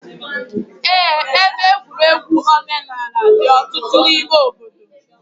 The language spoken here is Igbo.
Eé, ebe egwuregwu omenaala dị ọtụtụ n'ime obodo.